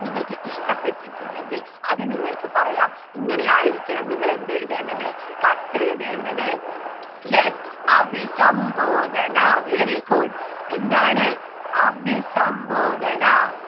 നിങ്ങൾക്ക് ഇഷ്ട്ടപ്പെട്ടിട്ടുണ്ടെങ്കിൽ അത് നിങ്ങൾക്ക് പറയാം ഇങ്ങനെയായിരിക്കണം നിങ്ങൾ എന്തെഴുതേണ്ടത് കത്തെഴുതേണ്ടത് yes അഭിസംബോധന very good എന്താണ് അഭിസംബോധനാ